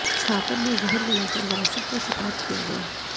छापर में जहर मिलाकर वायसन का शिकार किया गया